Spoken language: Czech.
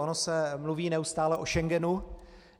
Ono se mluví neustále o Schengenu.